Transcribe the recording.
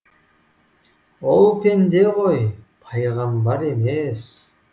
ол пенде ғой пайғамбар емес